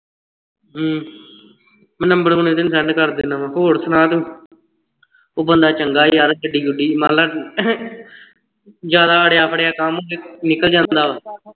ਹਮ number ਹੁਣੇ ਤੈਨੂੰ send ਕਰ ਦਿੰਦਾ ਹਾਂ ਹੋਰ ਸੁਣਾ ਤੂੰ ਉਹ ਬੰਦਾ ਚੰਗਾ ਯਾਰ ਗੱਡੀ ਗੁੱਡੀ ਮਨ ਲੈ ਜਿਆਦਾ ਅੜਿਆ ਪੜਿਆ ਕੰਮ ਹੋਵੇ ਨਿਕਲ ਜਾਂਦਾ ਵਾਂ